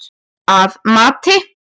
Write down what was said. Að mati